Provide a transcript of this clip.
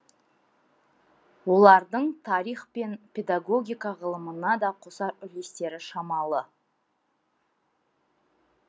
олардың тарих пен педагогика ғылымына да қосар үлестері шамалы